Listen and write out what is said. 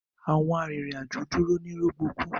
Awọn arinrin-ajo dúró ni rọgbọkú.